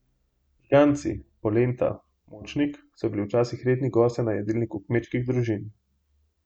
Žganci, polenta, močnik so bili včasih redni gostje na jedilniku kmečkih družin.